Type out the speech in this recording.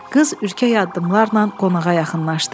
Qız ürkək addımlarla qonağa yaxınlaşdı.